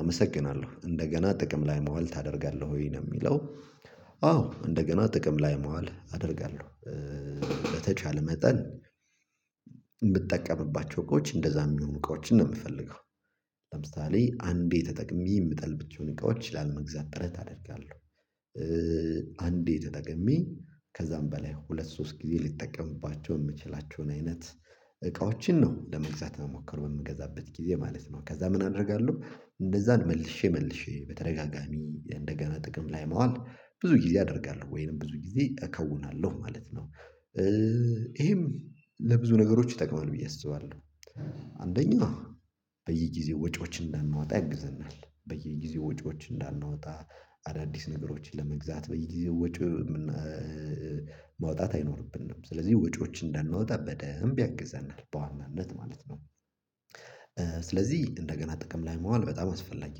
አመሰግናለሁ እንደገና ጥቅም ላይ መዋል ታደርጋለህ ወይ ነው የሚለው? አዎ እንደገና ጥቅም ላይ መዋል አደርጋለሁ። በተቻለ መጠን ብትጠቀምባቸው እቃዎች እንደዛ የሚሆኑ እቃዎችን ነው የምፈልገው። ለምሳሌ አንዴ ተጠቅሜ የምጥላቸውን እቃዎች ላለ መግዛት ጥረት አደርጋለሁ። አንዴ ተጠቅሜ ከዛም በላይ ሁለት ሶስት ጊዜ ልጠቀምባቸው የምችላቸውን አይነት እቃዎችን ነው ለመግዛት ምሞክረው በምገዛበት ጊዜ ማለት ነው። ከዛ ምን አደርጋለሁ እነዛን መልሼ መልሼ በተደጋጋሚ እንደገና ጥቅም ላይ ማዋል ብዙ ጊዜ አደርጋለሁ ወይም ብዙ ጊዜ እከውናለሁ ማለት ነው። ይሄም ለብዙ ነገሮች ይጠቅማል ብዬ አስባለሁ። አንደኛ በየጊዜው ወጪዎችን እንዳናወጣ ያግዘናል በየጊዜው ወጪዎችን እንዳናወጣ አዳዲስ ነገሮችን ለመግዛት በየጊዜው ወጪ መውጣት አይኖርብንም ስለዚህ ወጪዎች እንዳናወጣ በደንብ ያግዘናል በዋናነት ማለት ነው። ስለዚህ እንደገና ጥቅም ላይ ማዋል በጣም አስፈላጊ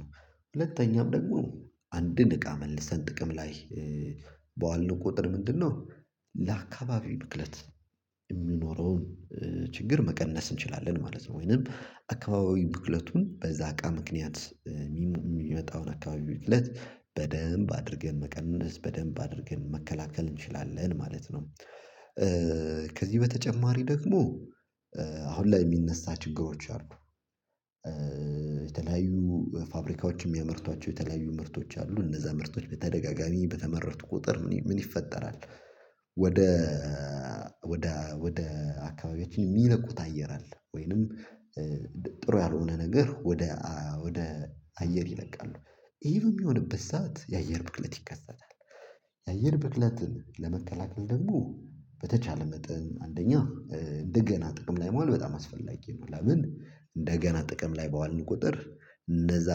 ነው። ሁለተኛም ደግሞ አንድ እቃ መልሰን ጥቅም ላይ በዋሉ ቁጥር ምንድነው? ለአካባቢው ብክለት የሚኖረውን ችግር መቀነስ እንችላለን ማለት ነው። ወይንም አካባቢው ብክለቱን በዛ አቃ ምክንያት የሚመጣውን አካባቢው ብክለት በደንብ አድርገን መቀነስ በደንብ አድርገን መከላከል እንችላለን ማለት ነው። ከዚህ በተጨማሪ ደግሞ አሁን ላይ የሚነሳ ችግሮች አሉ። የተለያዩ ፋብሪካዎችም የሚያመርቷቸው የተለያዩ ምርቶች አሉ እነዛ ምርቶች በተደጋጋሚ በተመረቱ ቁጥር ምን ይፈጠራል? ወደ ወደ ወደ አካባቢያችን የሚለቁት አየር አለ ወይንም ጥሩ ያልሆነ ነገር ወደ ወደ አየር ይለቃሉ ይሄ በሚሆንበት ሰዓት የአየር ብክለት ይከሰታል። የአየር ብክለትን ለመከላከል ደግሞ በተቻለ መጠን አንደኛ እንደገና ጥቅም ላይ ማዋል በጣም አስፈላጊ ነው። ለምን እንደገና ጥቅም ላይ ባዋልን ቁጥር እነዛ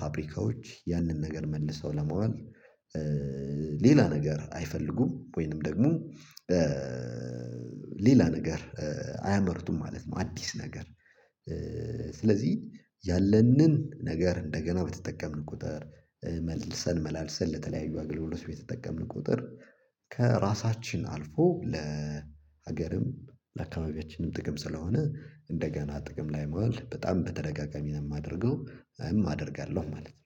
ፋብሪካዎች ያንን ነገር መልሰው ለማዋል ሌላ ነገር አይፈልጉም ወይንም ደግሞ ሌላ ነገር አያመርቱም ማለት ነው። አዲስ ነገር ስለዚህ ያለንን ነገር እንደገና በተጠቀምን ቁጥር መልሰን መላልሰን ለተለያዩ አገልግሎት በተጠቀምን ቁጥር ከራሳችን አልፎ ለሀገርም ለአካባቢያችንም ጥቅም ስለሆነ እንደገና ጥቅም ላይ መዋል በጣም በተደጋጋሚ ነው የማደርገው አደርጋለሁ ማለት ነው።